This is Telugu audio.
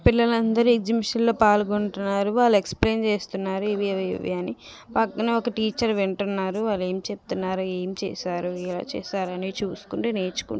పిల్లలందురు ఎక్సిబిషన్ లో పాలుగొంటున్నారు వాళ్ళు ఎక్స్ప్లేన్ చేస్తున్నారు అవి ఇవి అని పక్కనే ఒక టీచర్ వింటున్నారు ఆల్లు ఏమి చెపుతున్నారో ఏం చేశారో ఎలా చేసారో చూసుకుంటూ నేర్చుకుంటునరు.